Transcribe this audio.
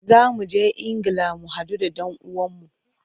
Za mu je Ingila mu hadu da dan uwanmu.